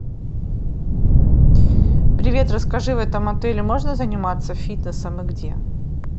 привет расскажи в этом отеле можно заниматься фитнесом и где